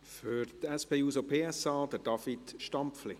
Für die SP-JUSO-PSA, David Stampfli.